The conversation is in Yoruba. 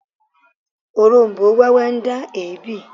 Oróm̀bó wẹ́wẹ́ ń dá èébì